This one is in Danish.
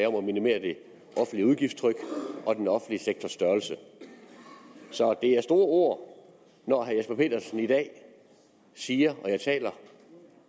om at minimere det offentlige udgiftstryk og den offentlige sektors størrelse så det er store ord når herre jesper petersen i dag siger og jeg citerer